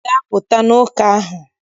Ị ga-apụta n'ụka ahụ!